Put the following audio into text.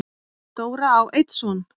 Dóra á einn son.